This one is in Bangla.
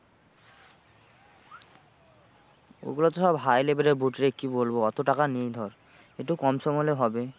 এগুলো তো সব high level এর boot রে কি বলবো অত টাকা নেই ধর। একটু কমসম হলে হবে।